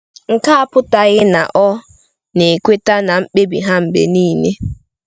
Nke a apụtaghị na ọ na-ekweta na mkpebi ha mgbe niile.